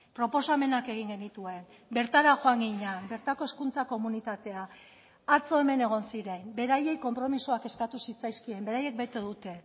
proposamenak egin genituen bertara joan ginen bertako hezkuntza komunitatea atzo hemen egon ziren beraiei konpromisoak eskatu zitzaizkien beraiek bete dute